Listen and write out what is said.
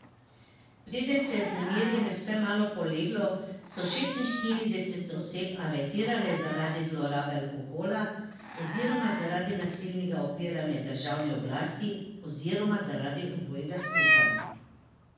Preden se je vznemirjenje vsaj malo poleglo, so šestinštirideset oseb aretirali zaradi zlorabe alkohola, oziroma zaradi nasilnega upiranja državni oblasti, oziroma zaradi obojega skupaj.